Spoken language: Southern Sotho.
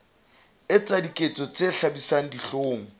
etsa diketso tse hlabisang dihlong